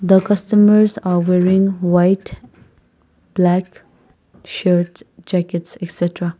the customers are wearing white black shirts jackets excetera